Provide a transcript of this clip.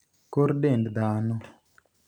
kor dend dhano